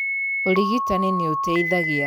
ũrigitani nĩũteithagia.